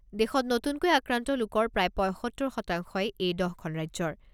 দেশত নতুনকৈ আক্ৰান্ত লোকৰ প্ৰায় পঁইসত্তৰ শতাংশই এই দহখন ৰাজ্যৰ।